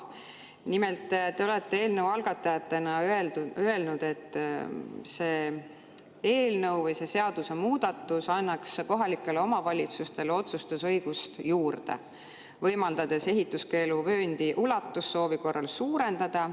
Nimelt, te olete eelnõu algatajatena öelnud, et see eelnõu või see seadusemuudatus annaks kohalikele omavalitsustele otsustusõigust juurde, võimaldades ehituskeeluvööndi ulatust soovi korral suurendada.